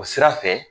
O sira fɛ